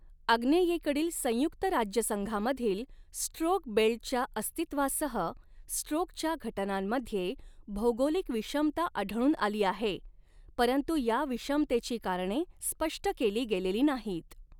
आग्नेयेकडील संयुक्त राज्यसंघामधील 'स्ट्रोक बेल्ट'च्या अस्तित्वासह स्ट्रोकच्या घटनांमध्ये भौगोलिक विषमता आढळून आली आहे, परंतु या विषमतेची कारणे स्पष्ट केली गेलेली नाहीत.